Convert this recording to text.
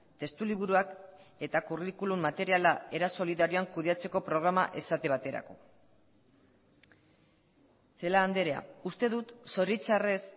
testu liburuak eta kurrikulum materiala era solidarioan kudeatzeko programa esate baterako celaá andrea uste dut zoritxarrez